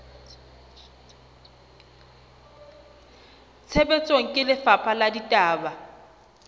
tshebetsong ke lefapha la ditaba